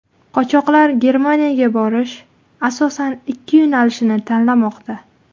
Qochoqlar Germaniyaga borish asosan ikki yo‘nalishni tanlamoqda .